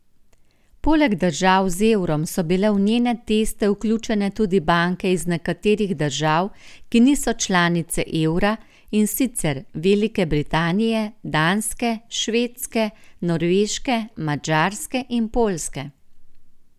Poleg držav z evrom so bile v njene teste vključene tudi banke iz nekaterih držav, ki niso članice evra, in sicer Velike Britanije, Danske, Švedske, Norveške, Madžarske in Poljske.